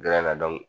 na dɔn